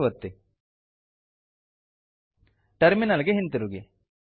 save ಒತ್ತಿ terminal ಗೆ ಹಿಂತಿರುಗಿ